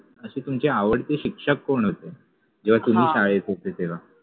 अशे तुमचे आवडते शिक्षक कोण होते जेव्हा तुम्हि शाळेत होते तेव्हा